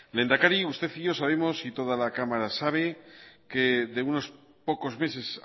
lehendakari usted y yo sabemos y toda la cámara sabe que de unos pocos meses